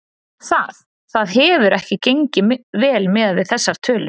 Það, það hefur ekki gengið vel miðað við þessar tölur?